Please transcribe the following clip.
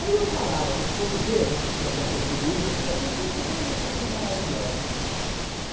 Aí eu falava para os portugueses que tinha acontecido isso, eu disse assim, poxa, como vocês são maravilhosos.